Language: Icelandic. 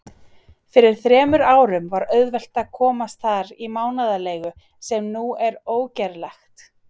Fyrir þremur árum var auðvelt að komast þar í mánaðarleigu, sem nú er ógerlegt.